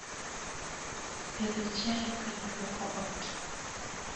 pidho chiayo kendo lwoko ot